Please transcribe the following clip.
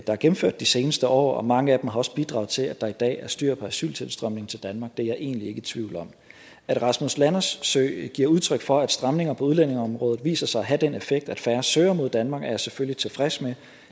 der er gennemført de seneste år og mange af dem har også bidraget til at der i dag er styr på asyltilstrømningen til danmark det er jeg egentlig ikke i tvivl om at rasmus landersø giver udtryk for at stramninger på udlændingeområdet viser sig at have den effekt at færre søger mod danmark er jeg selvfølgelig tilfreds med